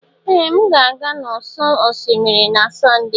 Ee! M na-aga n'ụ̀sọ̀ osimiri na Sọnde.